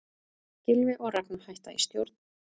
Gylfi og Ragna hætta í stjórn